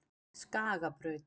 Skagabraut